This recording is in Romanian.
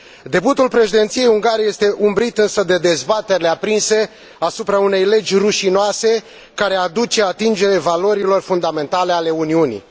Debutul Președinției ungare este umbrit însă de dezbaterile aprinse asupra unei legi rușinoase, care aduce atingere valorilor fundamentale ale Uniunii.